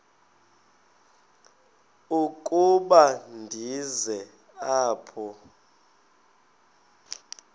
ukuba ndize apha